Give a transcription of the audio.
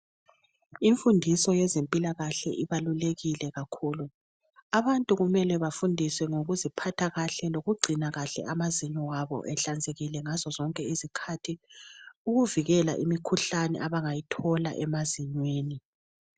Enfundiso yezempilakahle ibalulekile kakhulu. Abantu kumele bafundiswe ngokuziphatha kahle lokugcina kahle amazinyo abo, ehlanzekile ngazo xonke isikhathi ukuvikela imikhuhlane abangayithola emazinyweni.